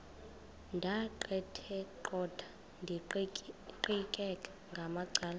ndaqetheqotha ndiqikaqikeka ngamacala